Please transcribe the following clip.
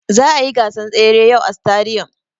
Za'a yi gasan tsere yau a sitadiyom.